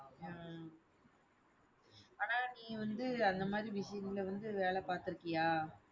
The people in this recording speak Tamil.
உம் ஆனா நீ வந்து அந்த மாதிரி machine ல வந்து வேலை பார்த்திருக்கியா?